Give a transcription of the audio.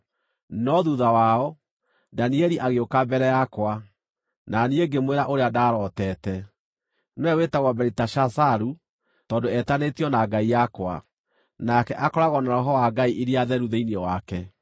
No thuutha wao, Danieli agĩũka mbere yakwa, na niĩ ngĩmwĩra ũrĩa ndarooteete. (Nĩwe wĩtagwo Beliteshazaru tondũ etanĩtio na ngai yakwa, nake akoragwo na roho wa ngai iria theru thĩinĩ wake.)